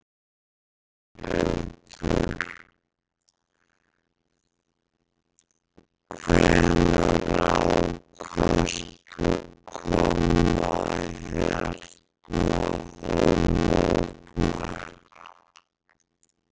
Þórhildur: Hvenær ákvaðstu að koma hérna og mótmæla?